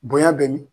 Bonya bɛ ni